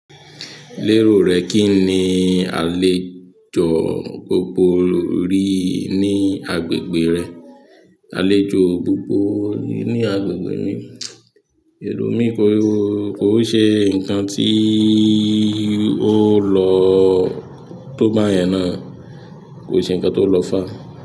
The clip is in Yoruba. Lérò rẹ kí ni àlejò gbogbo rí ní agbègbè rẹ? Àlejò gbogbo ní agbègbè mi, èrò mi kò, kò ṣe nǹkan tí ó lọ tó bá yẹn náà, kò ṣe nǹkan tó lọ fá.